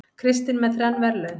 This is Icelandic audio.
Kristinn með þrenn verðlaun